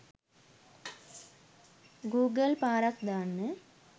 Google පාරක් දාන්න.